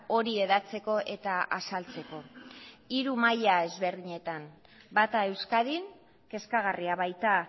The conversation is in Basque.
hori hedatzeko eta azaltzeko hiru maila ezberdinetan bata euskadin kezkagarria baita